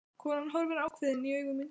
Konan horfir ákveðin í augu mín.